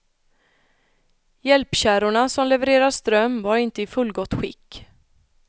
Hjälpkärrorna som levererar ström var inte i fullgott skick.